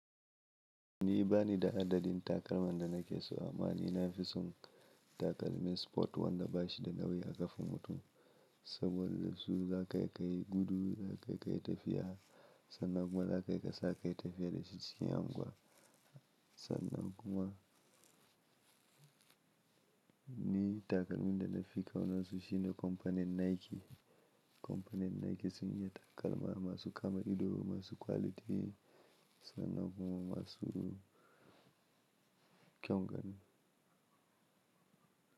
Ni bani da adadin takalma da nake so a ma ni. Na fi son takalmin sport wanda bashi da nauyi a ƙafan mutum saboda su za ka kai kai gudu, za ka kai kai tafiya sannan kuma za ka kai ka sa kai tafiya da shi cikin anguwa. Sannan kuma ni takalmin da na fi kauna su shine kompani Nike. Kompani Nike sun yi takalma masu kama ido, masu kwaliti sannan kuma masu kyau ganin.